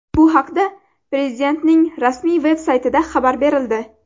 Bu haqda Prezidentning rasmiy-veb saytida xabar berildi.